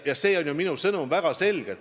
See on väga selgelt minu sõnum.